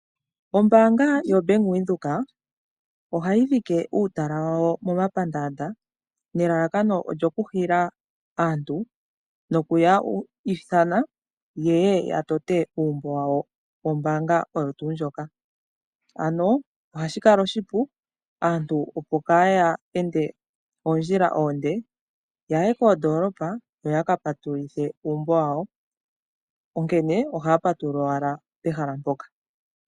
Ombaanga yobank Windhoek ohayi dhike uutala wayo momapandanda. Elalakano lyawo okwiithana nokuhila aantu yeye yatote uumbo wawo wombaaga. Ano ohashi kala oshipu aantu nkayeende oondjila onde ta yayi koondolopa, onkene ohaya patululile owala mpoka.